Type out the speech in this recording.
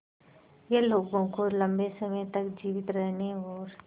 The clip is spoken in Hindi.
यह लोगों को लंबे समय तक जीवित रहने और